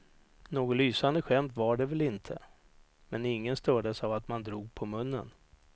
Något lysande skämt var det väl inte, men ingen stördes av att man drog på munnen.